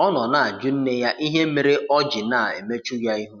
Ọ nọ na-ajụ nne ya ịhe mere ọ jị na-emechụ ya ihụ.